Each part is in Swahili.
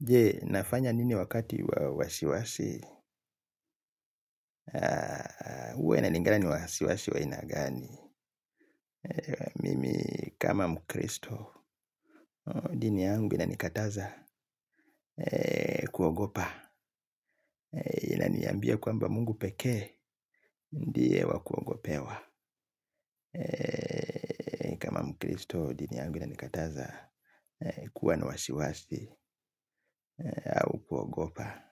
Je nafanya nini wakati wa wasiwasi? Huwa inalingana ni wasiwasi wa aina gani. Mimi kama mkristo, dini yangu inanikataza kuogopa. Inaniambia kwamba Mungu pekee, ndiye wa kuogopewa. Mkristo, dini yangu inanikataza kuwa na wasiwasi au kuogopa.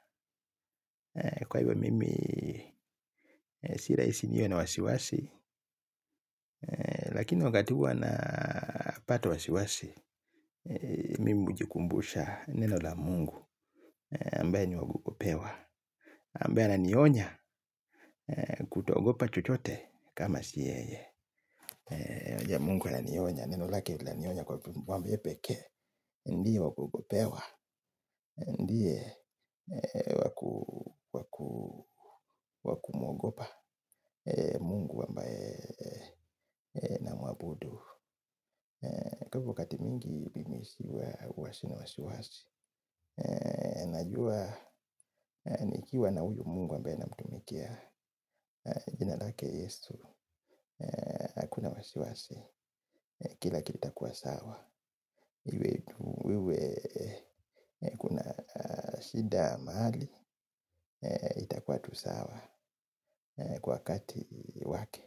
Kwa hivyo mimi sirahisi niwe na wasiwasi. Lakini wakati huwa napata wasiwasi mimi hujikumbusha neno la Mungu ambaye ni wa kuogopewa ambae ana nionya kuto ogopa chochote kama siyeye. Mungu ana nionya. Neno lake lina nionya kwa dhambi pekee. Ndiye wakuogopewa. Ndiye wakumogopa. Mungu ambae na mwabudu kwa wakati mingi mimi hua sina wasi wasi. Najua nikiwa na uyu mungu ambae namtumikia. Jinalake yesu hakuna wasi wasi. Kila kitu kitakua sawa. Iwe kuna shida mahali itakua tu sawa kwa wakati wake.